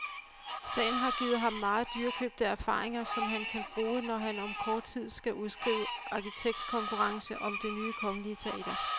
Sagen har givet ham meget dyrekøbte erfaringer, som han kan bruge når han om kort tid skal udskrive arkitektkonkurrencen om det nye kongelige teater.